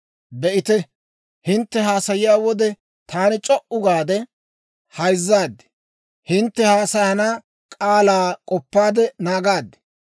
«Be'ite, hintte haasayiyaa wode, taani c'o"u gaade hayzzaad; hintte haasayana k'aalaa k'oppaade naagaad.